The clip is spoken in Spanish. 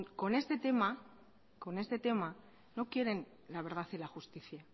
con este tema no quieren la verdad y la justicia